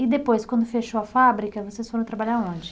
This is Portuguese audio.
E depois, quando fechou a fábrica, vocês foram trabalhar aonde?